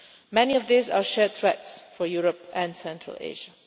Many of these are shared threats for Europe and Central Asia.